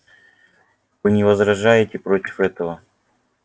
вы не возражаете против этого